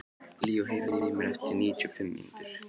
Leo, heyrðu í mér eftir níutíu og fimm mínútur.